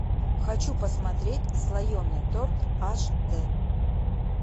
хочу посмотреть слоеный торт аш дэ